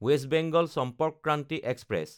west Bengal Sampark Kranti express